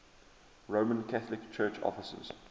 roman catholic church offices